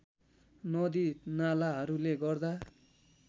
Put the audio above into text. नदी नालाहरूले गर्दा